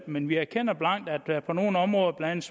men vi erkender blankt at på nogle områder blandt